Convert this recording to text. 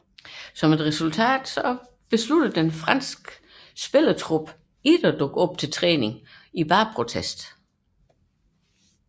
Som resultat valgte resten af det franske spillertrup ikke at dukke op til træning i protest